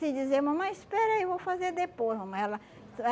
Se dizer mamãe, espera aí, eu vou fazer depois, mamãe. Ela você